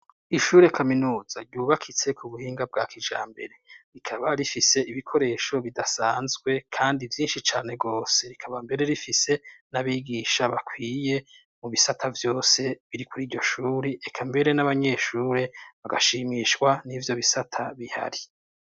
Ishure kaminuza ryubakitse ku buhinga bwa kijambere. Rikaba rifise ibikoresho bidasanzwe kandi vyinshi cane rwose. Rikaba mbere rifise n'abigisha bakwiye mu bisata vyose biri kuri iryo shure, eka mbere n'abanyeshure bagashimishwa n'ibyo bisata bihari.